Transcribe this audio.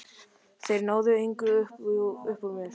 Þeir náðu engu upp úr mér.